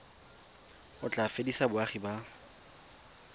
o tla fedisa boagi ba